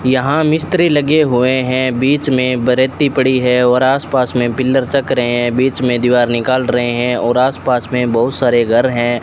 यहां मिस्त्री लगे हुए हैं बीच में बरती पड़ी है और आस पास में पिलर चक रहे हैं बीच में दीवार निकाल रहे हैं और आस पास में बहुत सारे घर हैं।